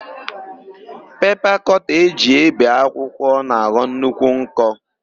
Pepa kọta e ji ébè akwụkwọ na-aghọ nnukwu nkọ.